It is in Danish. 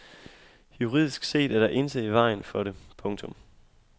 Juridisk set er der intet i vejen for det. punktum